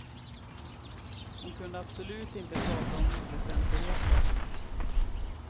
Hon kunde absolut inte prata om oväsentligheter.